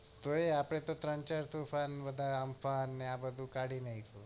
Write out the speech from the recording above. તો એ આપણે ત્રણ ચાર તોફાન આલ્ફા ને આ બધું કાઢી નાખ્યું